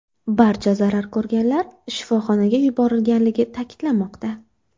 Barcha zarar ko‘rganlar shifoxonaga yuborilganligi ta’kidlanmoqda.